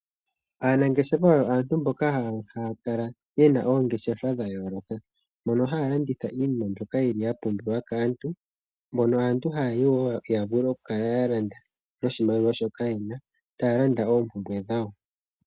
Aanangeshefa oyo aantu mboka haya kala ye na oongeshefa dhayooloka, mono haya landitha iinima mbyono yili ya pumbiwa kaantu mono aantu haya yi wo ya vule oku kala ya landa, taya landa noshimaliwa shoka ye na, taya landa oompumbwe dhawo.